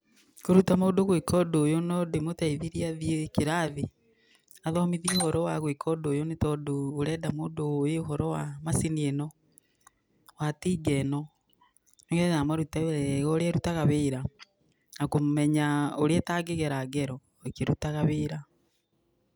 Kũruta mũndũ gwĩka ũndũ ũyũ no ndĩmũteithirie athiĩ kĩrathi, athomithio ũhoro wa gwĩka ũndũ ũyũ nĩ tondũ ũrenda mũndũ ũũĩ ũhoro wa macini ĩno, wa tinga ĩno nĩ getha amarute wega ũrĩa ĩrutaga wĩra na kũmenya ũrĩa ĩtangĩgera ngero ĩkĩrutaga wĩra.